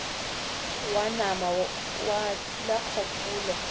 wa nama wa thula kgopolo